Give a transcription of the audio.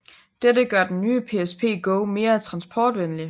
Dette gør den nye PSP Go mere transportvenlig